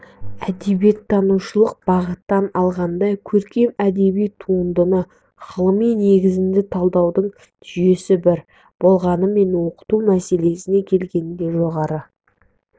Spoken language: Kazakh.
әдебиеттанушылық бағыттан алғанда көркем әдеби туындыны ғылыми негізді талдаудың жүйесі бір болғанымен оқыту мәселесіне келгенде жоғары